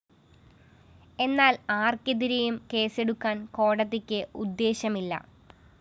എന്നാല്‍ ആര്‍ക്കെതിരെയും കേസെടുക്കാന്‍ കോടതിക്ക് ഉദ്ദേശ്യമില്ല